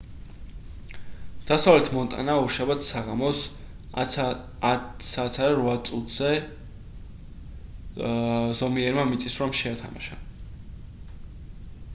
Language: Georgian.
დასავლეთ მონტანა ორშაბათს საღამოს 10:08 საათზე ზომიერმა მიწისძვრამ შეათამაშა